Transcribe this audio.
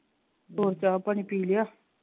ਹੋਰ ਚਾਹ ਪਾਣੀ ਪੀ ਲਿਆ?